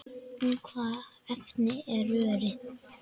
Úr hvaða efni er rörið?